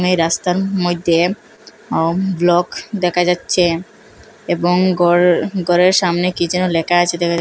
এই রাস্তার মইধ্যে অম ব্লক দেখা যাচ্ছে এবং ঘর ঘরের সামনে কী যেন লেখা আছে দেখা যা--।